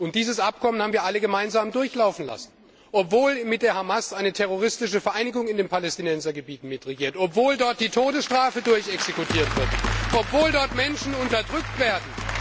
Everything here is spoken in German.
Und dieses Abkommen haben wir alle gemeinsam durchlaufen lassen, obwohl mit der Hamas eine terroristische Vereinigung in den Palästinensergebieten mitregiert, obwohl dort die Todesstrafe vollstreckt wird, obwohl dort Menschen unterdrückt werden.